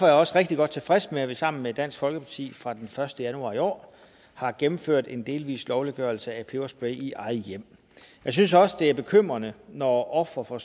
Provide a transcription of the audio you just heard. jeg også rigtig godt tilfreds med at vi sammen med dansk folkeparti fra den første januar i år har gennemført en delvis lovliggørelse af peberspray i eget hjem jeg synes også det er bekymrende når ofre for